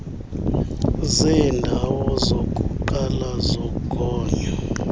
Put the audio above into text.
zeendawo zokuqala zogonyo